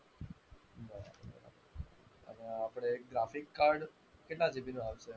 અચ્છા આપણે graphic card કેટલા GB નો આવશે?